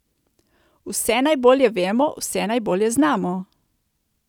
Vse najbolje vemo, vse najbolje znamo.